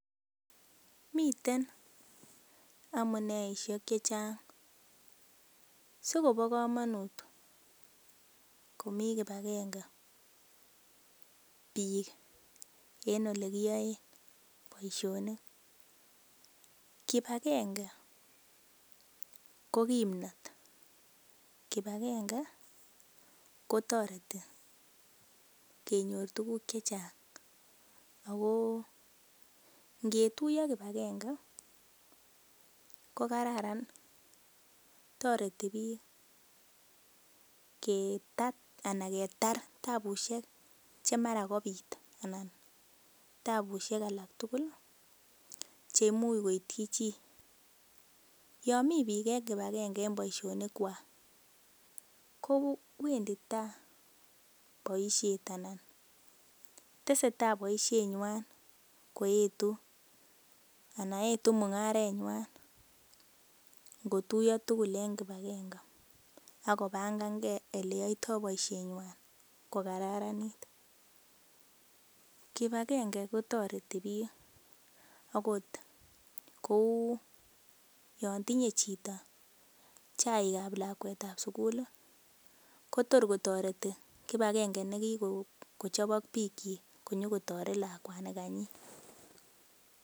Miten amuneishek chechang sikobo komonut komi kibakenge biik en olekiyoe boishonik kibakenge ko kimnotet kibakenge kotoreti kenyor tukuk che chang ako ngetuyo kibakenge ko kararan toreti biik ketat anan ketar taabushek chemara kobit alan tabusiek alak tugul cheimuch koitchi chi yo mii biik kibakenge eng boishonik kwach ko wendi tai boishet anyun tesetai boishenywan koetu ana etu mung'aret ng'wan ngotuyo tugul eng kibakenge ako bankangei oleyoitoi boishet ng'wan kokararanit kibakenge kotoreti biik akot kou yon tinyei chito chaik ap lakwet ap sukul Kotor kotoreti kibakenge nekiko chop ak biik chi kotoreti lakwanika nyi.